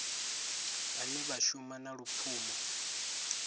vhane vha shuma na lupfumo